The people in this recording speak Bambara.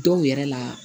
Dɔw yɛrɛ la